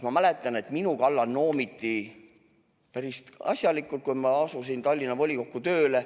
Ma mäletan, et minu kallal noomiti päris asjalikult, kui ma asusin Tallinna Linnavolikogus tööle.